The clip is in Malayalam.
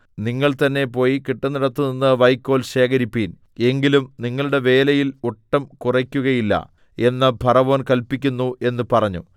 നിങ്ങൾതന്നെ പോയി കിട്ടുന്നിടത്തുനിന്ന് വൈക്കോൽ ശേഖരിപ്പിൻ എങ്കിലും നിങ്ങളുടെ വേലയിൽ ഒട്ടും കുറയ്ക്കകയില്ല എന്ന് ഫറവോൻ കല്പിക്കുന്നു എന്ന് പറഞ്ഞു